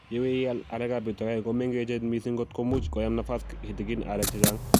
Yeiwe, ial arekab betut agenge ko mengech miising kot komuchi koyam nafas kitigin areek che chang